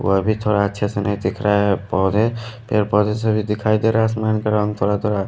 वो भी थोड़ा अच्छे से नहीं दिख रहा है पौधे पेड़ पौधे से भी दिखाई दे रहा है आसमान का रंग थोड़ा-थोड़ा----